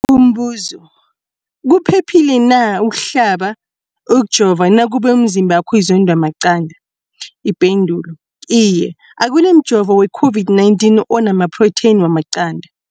Umbuzo, kuphephile na ukuhlaba, ukujova nakube umzimbakho uzondwa maqanda. Ipendulo, Iye. Akuna mjovo we-COVID-19 ona maphrotheyini wamaqanda.